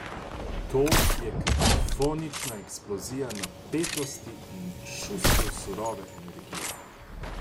Ta je kakofonična eksplozija napetosti in čustev surove energije.